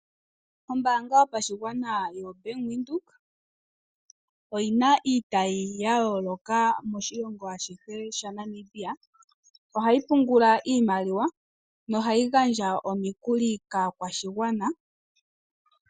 Ombanga yopashigwana yoBank Windhoek oyina iitayi yayoloka moshilongo ashihe shaNamibia. Ohayi pungula iimaliwa nohayi gandja omikuli kaakwashigwana.